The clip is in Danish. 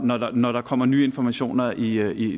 når der når der kommer nye informationer i